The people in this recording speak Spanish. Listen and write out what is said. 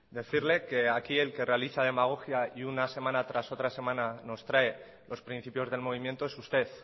decirle que aquí el que realiza demagogia y una semana tras otra semana nos trae los principios del movimiento es usted